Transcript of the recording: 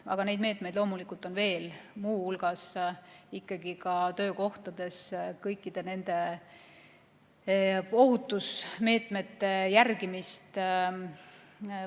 Aga neid meetmeid on loomulikult veel, muu hulgas töökohtades kõikide ohutusmeetmete järgimine.